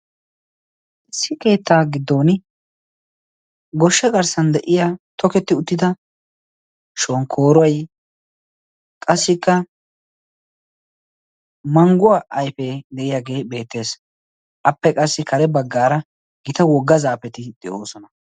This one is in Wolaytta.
issi keettaa giddon goshsha garssan de7iya toketti uttida shonkkooruwai qassikka mangguwaa aifee de7iyaagee beettees appe qassi kare baggaara gita wogga zaafeti de7oosona